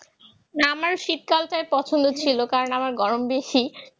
না আমার তো শীতকাল তো পছন্দ ছিল কারণ আমার গরম বেশি